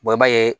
i b'a ye